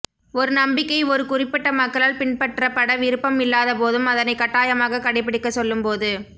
ஒரு நம்பிக்கை ஒருக் குறிப்பிட்ட மக்களால் பின்பற்றப் பட விருப்பம் இல்லாத போதும் அதனைக் கட்டாயமாக கடைப்பிடிக்கச் சொல்லும் போது